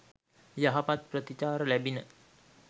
යහපත් ප්‍රතිචාර ලැබිණි.